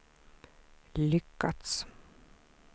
lyckats